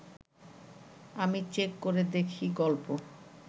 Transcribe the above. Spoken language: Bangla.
আমি চেক করে দেখি গল্প